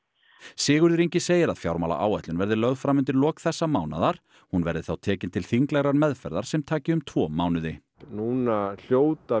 Sigurður Ingi segir að fjármálaáætlun verði lögð fram undir lok þessa mánaðar hún verði þá tekin til þinglegrar meðferðar sem taki um tvo mánuði núna hljóta